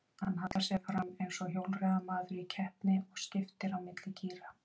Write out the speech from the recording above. Hann hallar sér fram eins og hjólreiðamaður í keppni og skiptir á milli gíra.